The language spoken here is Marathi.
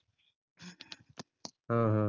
हा हा हा